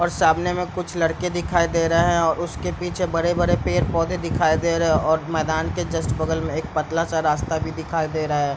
और सामने कुछ लड़के दिखाई दे रहे हैं और उसके पीछे बड़े-बड़े पेड़-पौधे दिखाई दे रहे हैं और मैदान के जस्ट बगल में एक पतला सा रास्ता भी दिखाई दे रहा है।